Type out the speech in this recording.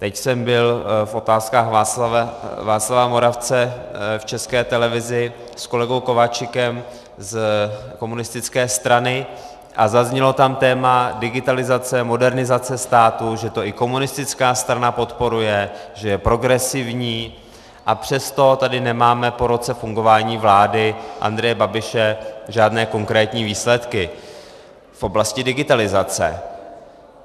Teď jsem byl v Otázkách Václava Moravce v České televizi s kolegou Kováčikem z komunistické strany a zaznělo tam téma digitalizace, modernizace státu, že to i komunistická strana podporuje, že je progresivní, a přesto tady nemáme po roce fungování vlády Andreje Babiše žádné konkrétní výsledky v oblasti digitalizace.